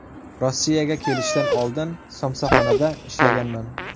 Rossiyaga kelishdan oldin somsaxonada ishlaganman.